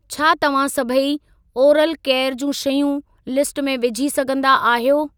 छा तव्हां सभई ओरल केयर जूं शयूं लिस्ट में विझी सघंदा आहियो।